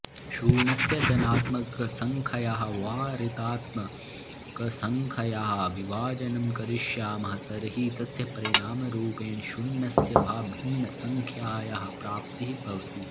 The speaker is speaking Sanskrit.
शून्यस्य धनात्मकसङ्ख्ययाः वा ऋणात्मकसङ्ख्ययाः विभाजनं करिष्यामः तर्हि तस्य परिणामरूपेण शून्यस्य वा भिन्नसङ्ख्यायाः प्राप्तिः भवति